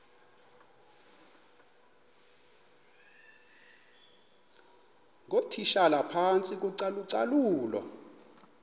ngootitshala phantsi kocalucalulo